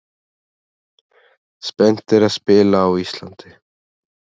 Spenntir að spila á Íslandi